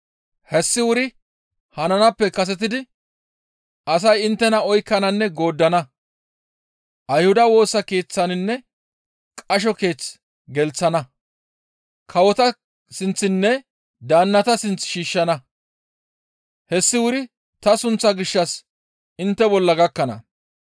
«Hessi wuri hananaappe kasetidi asay inttena oykkananne gooddana; Ayhuda Woosa Keeththinne qasho keeth gelththana; kawota sinththinne daannata sinth shiishshana. Hessi wuri ta sunththa gishshas intte bolla gakkana.